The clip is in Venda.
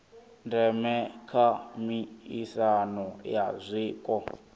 ndeme kha miaisano ya zwiko